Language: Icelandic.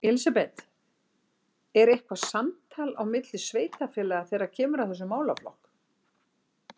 Elísabet: Er eitthvað samtal á milli sveitarfélaga þegar kemur að þessum málaflokk?